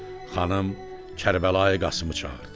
Xanım Kərbəlayı Qasımı çağırdı.